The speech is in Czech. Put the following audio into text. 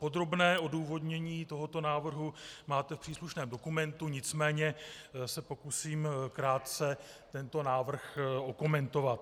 Podrobné odůvodnění tohoto návrhu máte v příslušném dokumentu, nicméně se pokusím krátce tento návrh okomentovat.